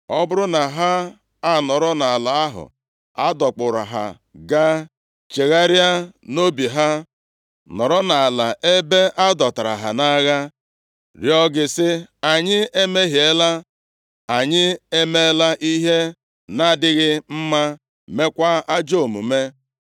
ọ bụrụ na ha anọrọ nʼala ahụ a dọkpụrụ ha gaa, chegharịa nʼobi ha, nọrọ nʼala ebe a dọtara ha nʼagha, rịọọ gị, sị, ‘Anyị emehiela, anyị emeela ihe nʼadịghị mma, meekwa ajọ omume.’